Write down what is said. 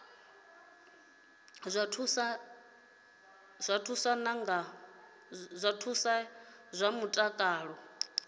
zwa thuso ya zwa mutakalo